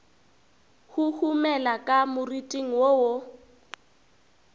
huhumela ka moriting wo wo